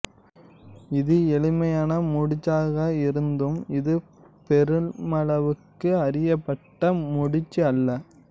இது எளிமையான முடிச்சாக இருந்தும் இது பெருமளவுக்கு அறியப்பட்ட முடிச்சு அல்ல